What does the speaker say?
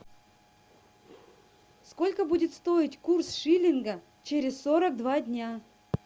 сколько будет стоить курс шиллинга через сорок два дня